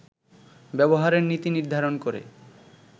ব্যবহারের নীতি নির্ধারণ করে